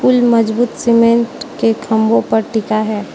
मजबूत सीमेंट के खंभों पर टिका है।